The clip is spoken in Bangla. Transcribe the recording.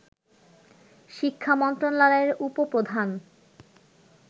শিক্ষামন্ত্রণালয়ের উপ-প্রধান